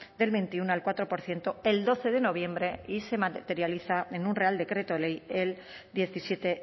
del veintiuno al cuatro por ciento el doce de noviembre y se materializa en un real decreto ley el diecisiete